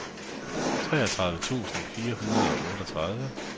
treogtredive tusind fire hundrede og otteogtredive